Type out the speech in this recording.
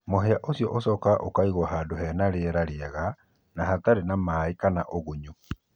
mũhĩa ũcĩo ũcokaga ũkaĩgũo handũ hena rĩera rĩega na hatarĩ`na maĩ kana ũgũnyũ